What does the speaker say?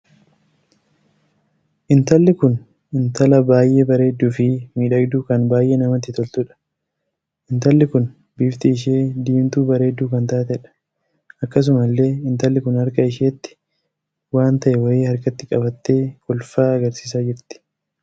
Intalli Kun intala baay'ee bareedduu fi miidhagduu kan baay'ee namatti toltuudha. ntalli kun bifti ishee diimtuu bareedduu kan taateedha. akkasuma illee intalli Kun harka isheetti waan tahee wayii harkatti qabattee kolfaa argarsiisaa jirti.